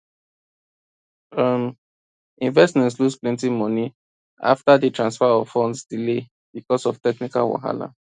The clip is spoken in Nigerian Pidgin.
um investors lose plenty money after di transfer of funds delay because of technical wahala